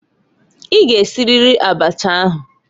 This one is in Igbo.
I g'esiriri abacha ahụǃ